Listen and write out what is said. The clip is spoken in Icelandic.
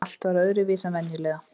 Allt var öðruvísi en venjulega.